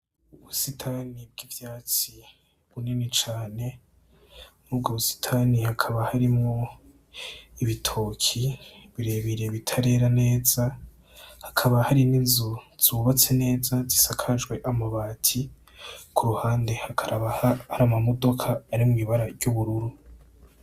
Ubusitani bw'ivyatsi bunini cane, mu bwo busitani hakaba harimwo ibitoki birebire bitarera neza, hakaba hari n'inzu zubatse neza zisakajwe amabati, kuruhande hakaba hari amamodoka arimwo ibara ry'ubururu.